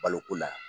Baloko la